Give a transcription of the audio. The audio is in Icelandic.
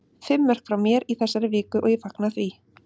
Fimm mörk frá mér í þessari viku og ég fagna því.